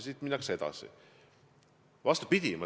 Siit minnakse edasi.